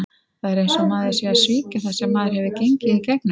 Það er eins og maður sé að svíkja það sem maður hefur gengið í gegnum.